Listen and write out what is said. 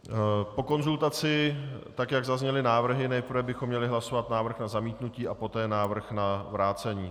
Po konzultaci, tak jak zazněly návrhy, nejprve bychom měli hlasovat návrh na zamítnutí a poté návrh na vrácení.